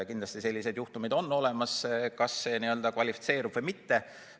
Kindlasti sellised juhtumid on olemas, kas need kvalifitseeruvad või mitte.